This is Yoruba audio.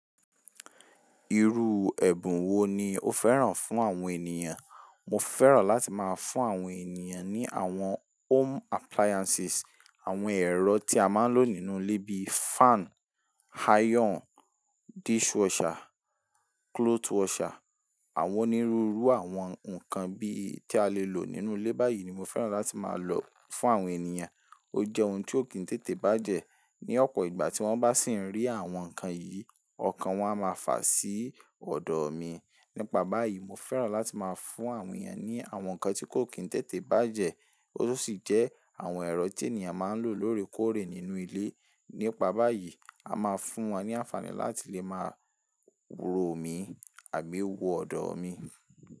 Irú ẹ̀bùn wo ni o fẹ́ràn fún àwọn ènìyàn? Mo fẹ́ràn láti máa fún àwọn ènìyàn ní àwọn home appliances, àwọn ẹ̀rọ tí a máa ń lò nínú ilé bí i fan, iron, dishwasher, clothes washer. Àwọn onírúurú àwọn nǹkan bíi tí a lè lò nínú ilé báyìí ni mo fẹ́ràn láti máa lò fún àwọn ènìyàn. Ó jẹ́ ohun tí ó kì ń tètè bàjẹ́. Ni ọ̀pọ̀ ìgbà tí wọ́n bá sì ń rí àwọn nǹkan yìí, ọkàn wọn a máa fà sí ọ̀dọ̀ mi. Nípa báyìí, mo fẹ́ràn láti máa fún àwọn èeyàn ní àwọn nǹkan tí kò kí ń tètè bàjẹ́, ó sì jẹ́ àwọn ẹ̀rọ tí ènìyàn máa ń lò lóòrèkóòrè nínú ilé. Nípa báyìí, a máa fún wọn ní àǹfààní láti lè máa rò mi àbí wò ọ̀dọ̀ mi.